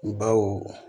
Baw